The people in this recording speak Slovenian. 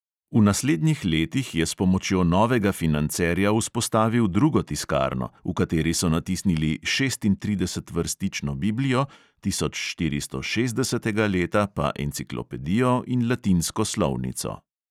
V naslednjih letih je s pomočjo novega financerja vzpostavil drugo tiskarno, v kateri so natisnili šestintridesetvrstično biblijo, tisočštiristošestdesetega leta pa enciklopedijo in latinsko slovnico.